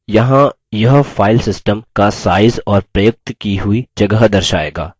यहाँ यह filesystem का size और प्रयुक्त की हुई जगह दर्शाएगा